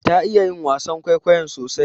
Ta iya yi wasan kwaikwayon sosai.